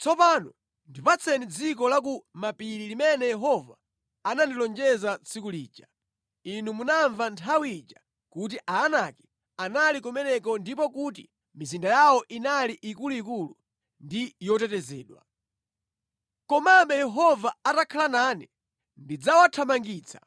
Tsopano ndipatseni dziko la ku mapiri limene Yehova anandilonjeza tsiku lija. Inu munamva nthawi ija kuti Aanaki anali kumeneko ndipo kuti mizinda yawo inali ikuluikulu ndi yotetezedwa. Komabe Yehova atakhala nane ndidzawathamangitsa